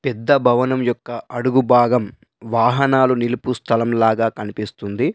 పెద్ద భవనం యొక్క అడుగుభాగం వాహనాలు నిలుపు స్థలంలాగా కనిపిస్తుంది.